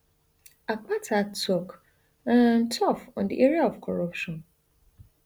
akpata tok um tough on di area of corruption